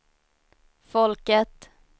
folket